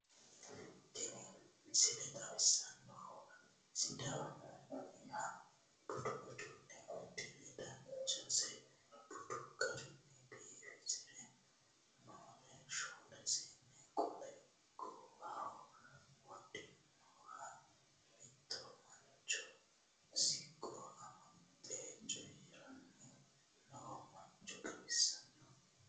Tini misile xawissannohu sidaamunniha budu uduunne uddire dananchonsa budu garinni biifisire noore shoole seenne, qolo goowaho wodhinoha mitto mancho, siqqo amaxxie coyiiranni noo mancho xawissanno.